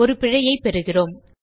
ஒரு பிழையைப் பெறுகிறோம்